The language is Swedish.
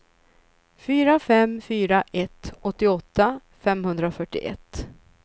fyra fem fyra ett åttioåtta femhundrafyrtioett